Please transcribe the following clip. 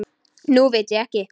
Nú veit ég ekki.